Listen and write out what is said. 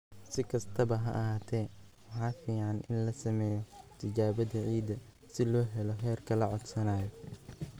Si kastaba ha ahaatee, waxa fiican in la sameeyo tijaabada ciidda si loo helo heerka la codsanayo"